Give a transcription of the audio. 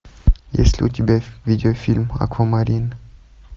есть ли у тебя видеофильм аквамарин